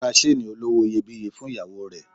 Ó ra seeni olówó iyebíye fún ìyàwó rẹ̀.